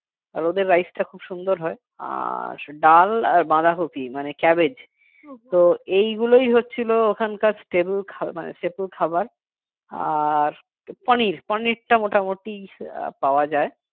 আর ওদের rice টা খুব সুন্দর হয় আর ডাল আর বাঁধাকপি মানে cabbage তো এইগুলোই হচ্ছিল ওখানকার stable খাবার আর পনির পনির টা মোটামুটি পাওয়া যায়